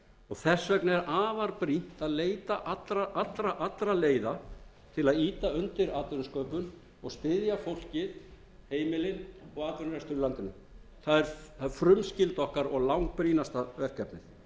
þess vegna er afar brýnt að leita allra leiða til að ýta fundir atvinnusköpun og styðja undir atvinnusköpun og styðja fólkið heimilin og atvinnurekstur í landinu það er frumskylda okkar og langbrýnasta verkefnið